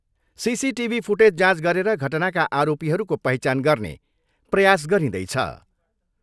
CCTV footage जाँच गरेर घटनाका आरोपीहरूको पहिचान गर्ने प्रयास गरिँदैछ।